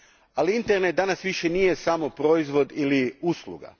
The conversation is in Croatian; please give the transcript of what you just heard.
Ali, internet danas više nije samo proizvod ili usluga.